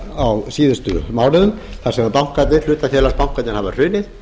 á síðustu mánuðum þar sem hlutafélagabankarnir hafa hrunið